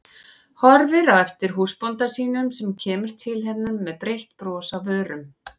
Horfir á eftir húsbónda sínum sem kemur til hennar með breitt bros á vörunum.